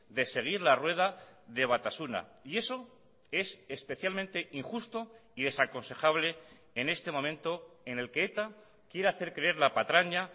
de seguir la rueda de batasuna y eso es especialmente injusto y desaconsejable en este momento en el que eta quiere hacer creer la patraña